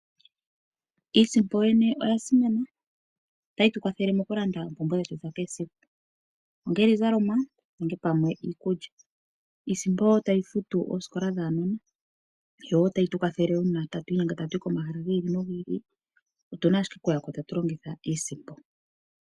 Iisimpo yoyene oyasimana. Otayi tu kwathele mokulanda oompumbwe dhetu dhesiku, ongele iizalomwa nenge pamwe iikutu. Iisimpo oyo tayi futu aanasikola oyo wo tayi tu kwathele uuna tatu inyenge tuye pomahala giili nogili . Otuna ashike okuyako tatu longitha iisimpo.